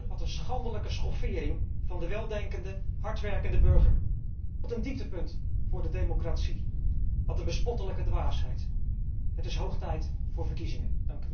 Wat een schandelijke schoffering van de weldenkende hardwerkende burger, wat een dieptepunt voor de democratie, wat een bespottelijke dwaasheid. Het is hoog tijd voor verkiezingen!